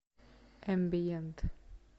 эмбиент